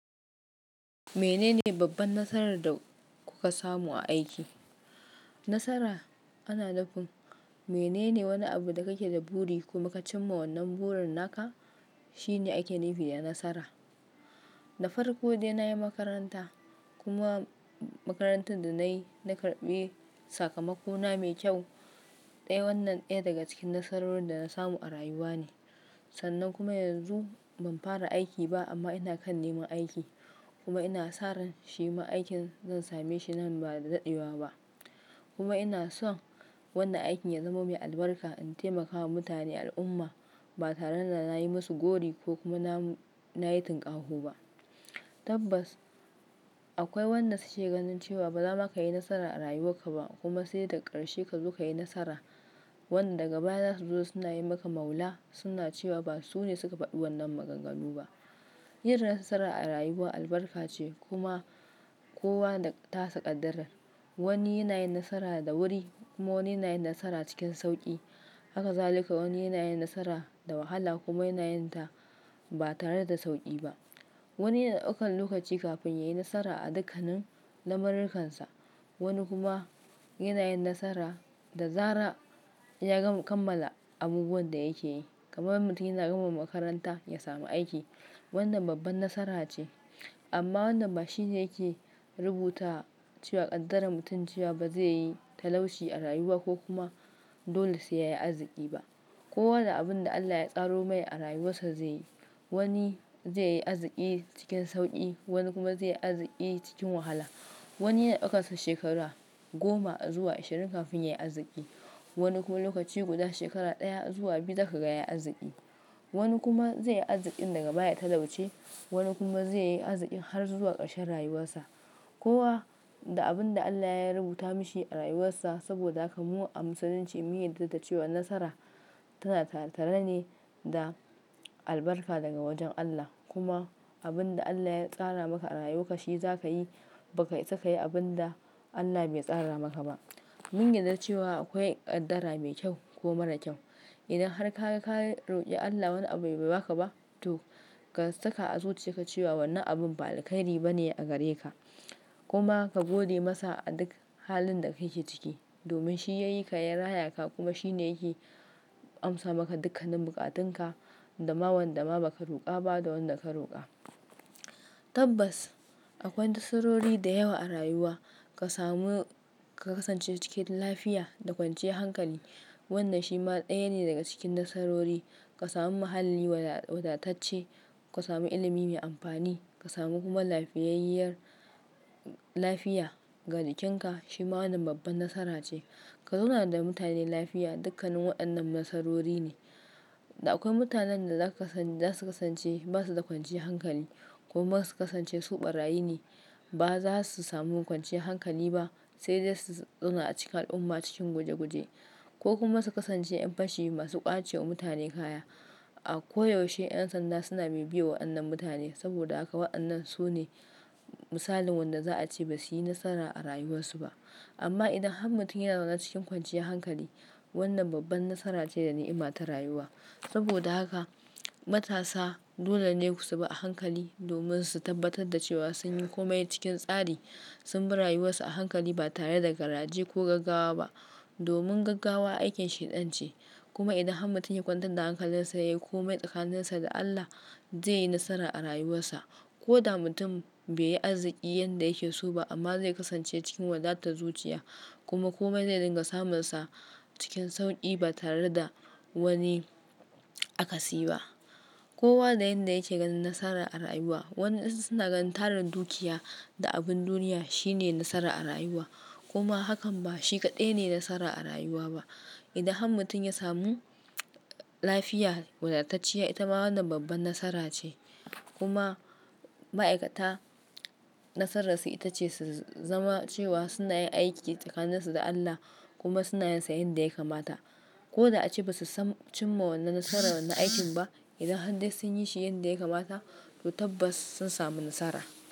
Menene babban nasarar da kuka samu a aiki? Nasara ana nufin Menene wane abu da kake da buri kuma ka cimma wannan burin naka, shine ake nufi da nasara. Da farko dai na yi makaranta kuma makarantar da na yi, na karɓi sakamakona mai kyau. Dai wannan daya daga cikin nasarorin da na samu a rayuwa ne. Sannan kuma yanzu ban fara aiki ba amma ina kan neman aiki kuma ina saran shima aikin zan same shi nan ba da dadewa ba. Kuma ina son wannan aikin ya zama mai albarka in taimakawa mutane al'umma ba tare da na yi musu gori ko kuma na yi tunƙahu ba. Tabbas akwai wanda su ke ganin cewa ba za ma ka yi nasara a rayuwarka ba kuma sai da karshe ka zu ka yi nasara. Wanda daga baya za su zo suna yi maka maula suna cewa ba su ne suka faɗi wannan maganganu ba. Yin nasara a rayuwa albarka ce kuma kowa da tasa ƙaddarar. Wani yana yin nasara da wuri kuma wani yana yin nasara cikin sauƙi. Hakazalika wani yana yin nasara da wahala kuma yana yin ta ba tare da sauƙi ba. Wani yana ɗaukan lokaci kafin ya yi nasara a dukkanin lamurkansa. Wani kuma yana yin nasara da zara in ya kammala abubuwan da yake yi. Kamar mutum yana gama makaranta ya samu aiki. Wannan babban nasara ce. Amma wannan ba shine yake rubuta cewa ƙaddara mutum cewa ba zai yi talauci a rayuwa ko kuma dole sai ya yi arziki ba. Kowa da abin da Allah ya tsaro mai a rayuwarsa ze yi. Wani ze yi arziki cikin sauƙi, wani kuma ze yi arziki cikin wahala. Wani yana ɗaukar shekaru goma zuwa ashirin kafin ya yi arziki. Wani kuma lokaci guda shekara daya zuwa biyu zaka gaya arziki. Wani kuma ze yi arzikin daga baya ya talauce. Wani kuma ze yi arziki har zuwa karshen rayuwarsa. Kowa da abin da Allah ya rubuta mishi a rayuwarsa. Saboda haka mu a Musulunci mun yarda da cewa nasara tana tare-tare ne da albarka daga wajen Allah. Kuma abin da Allah ya tsara maka a rayuwarka shi za ka yi ba ka isa ka yi abun da Allah bai tsara maka ba. Mun yarda cewa akwai ƙaddara mai kyau ko mara kyau. Idan har ka roƙi Allah wani abu bai ba ka ba to ka saka a zuciya ka cewa wannan abun ba alkairi ba ne a gare ka. Kuma ka gode masa a duk halin da kake ciki domin shi ya yi ka, ya raya ka kuma shi ne yake amsa maka dukkanin buƙatunka. Dama wanda ma ba ka roƙa ba da wanda ka roƙa. Tabbas akwai nasarori da yawa a rayuwa. Ka samu, ka kasance cikin lafiya da kwanciyar hankali. Wannan shi ma daya ne daga cikin nasarori. Ka sami muhalli wadatacce, ka sami ilimi mai amfani, ka sami kuma lafiyayyar lafiya ga jikinka shi ma wannan babban nasara ce. Ka zauna da mutane lafiya dukkanin waɗannan nasarori ne. Da akwai mutanen da zasu kasance ba su da kwanciyar hankali kuma su kasance su ɓarayyi ne. Ba za su samu kwanciyar hankali ba sai dai su zauna a cikin al'umma cikin guje guje, ko kuma su kasance yan fashi masu ƙwace wa mutane kaya. A koyaushe ƴan sanda suna bibiye wa wannan mutane. Saboda haka waɗannan su ne misalin wanda za a ce ba su yi nasara a rayuwarsu ba. Amma idan har mutum ya zaune cikin kwanciyar hankali wannan babban nasara ce da nima ta rayuwa. Saboda haka matasa dole ne su bi a hankali domin su tabbatar da cewa sun yi komai cikin tsari. Sun bi rayuwarsu a hankali ba tare da garaje ko gaggawa ba. Domin gaggawa aikin shaidan ce. Kuma idan har mutum ya kwantar da hankalinsa ya yi komai tsakaninsa da Allah ze yi nasara a rayuwarsa. Ko da mutum bai yi arziki yanda yake so ba amma ze kasance cikin wadatar zuciya kuma komai ze dinga samunsa cikin sauƙi ba tare da wani akasi ba. Kowa da yanda yake ganin nasara a rayuwa. Wa 'yansu su na ganin tarin da dukiya da abun duniya shine nasara a rayuwa. Kuma hakan ba shi kaɗai ne nasara a rayuwa ba. Idan har mutum ya samu lafiya, wadatacciya ita ma wannan babban nasara ce. Kuma ma'aikata nasararsu ita ce su zama cewa suna yin aiki tsakanin su da Allah kuma suna yin sa yanda yake mata. Ko da ace ba su san cimma wannan nasarar wannan aikin ba idan har dai sun yi shi yanda yakamata to tabbas sun samu nasara.